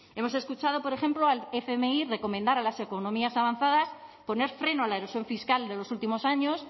hemos escuchado por ejemplo al fmi recomendar a las economías avanzadas poner freno a la erosión fiscal de los últimos años